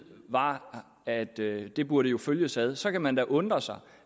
var at det det burde følges ad så kan man da undre sig